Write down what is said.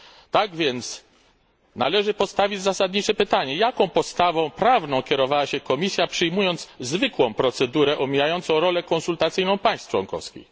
Tak więc należy postawić zasadnicze pytanie Jaką podstawą prawną kierowała się Komisja przyjmując zwykłą procedurę omijającą rolę konsultacyjną państw członkowskich?